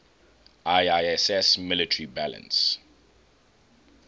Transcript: iiss military balance